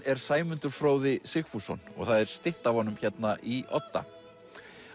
er Sæmundur Fróði Sigfússon og það er stytta af honum hérna í Odda